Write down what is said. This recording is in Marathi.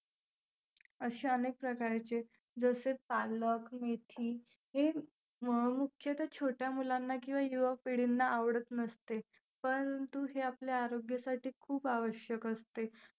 अशा अनेक प्रकारचे जसे पालक, मेथी हे अं मुख्यतः छोट्या मुलांना किंवा युवा पिढीना आवडत नसते. परंतु हे आपले आरोग्यासाठी खूप आवश्यक असते.